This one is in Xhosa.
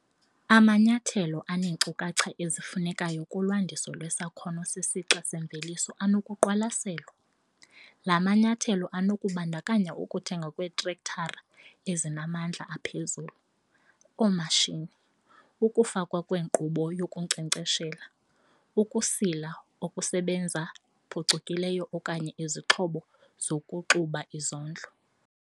Amanyathelo aneenkcukacha ezifunekayo kulwandiso lwesakhono sesixa semveliso anokuqwalaselwa. La manyathelo anokubandakanya ukuthengwa kweetrektara ezinamandla aphezulu, oomatshini, ukufakwa kwenkqubo yokunkcenkcesha, ukusila okusebenza phucukileyo okanye izixhobo zokuxuba izondlo.